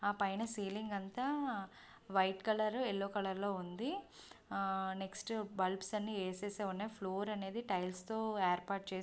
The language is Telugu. ఆ పైన సీలింగ్ అంతా వైట్ కలరు ఎల్లో కలర్ లో ఉంది. నెక్స్ట్ బల్బ్స్ అన్ని వేసేసి ఉన్నాయి టైల్స్ తో ఏర్పాటు చేశారు.